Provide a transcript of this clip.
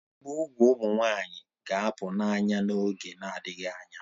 Ibi úgwù ụmụ nwanyị ga-apụ n'anya n'oge na-adịghị anya